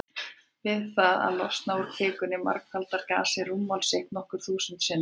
Við það að losna úr kvikunni margfaldar gasið rúmmál sitt nokkur þúsund sinnum.